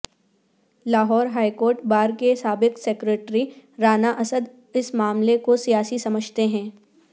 Lahore high court bar کے سابق secretary Rana Asad اس معاملے کو سیاسی سمجھتے ہیں